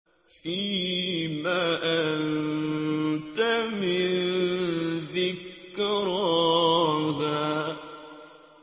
فِيمَ أَنتَ مِن ذِكْرَاهَا